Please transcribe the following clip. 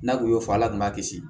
N'a kun y'o fɔ ala kun b'a kisi